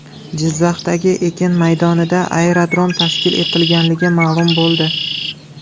Jizzaxdagi ekin maydonida aerodrom tashkil etilgani ma’lum bo‘ldi.